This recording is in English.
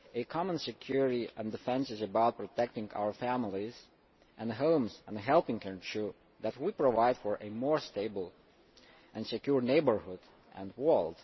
Common security and defence is about protecting our families and homes, and helping to ensure that we provide for a more stable and secure neighbourhood and world.